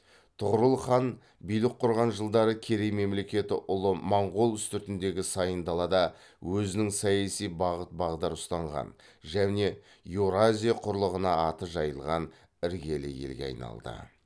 тұғырыл хан билік құрған жылдары керей мемлекеті ұлы монғол үстіртіндегі сайын далада өзінің саяси бағыт бағдар ұстанған және еуразия құрлығына аты жайылған іргелі елге айналды